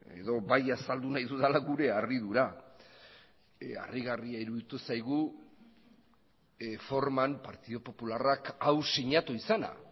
edo bai azaldu nahi dudala gure harridura harrigarria iruditu zaigu forman partidu popularrak hau sinatu izana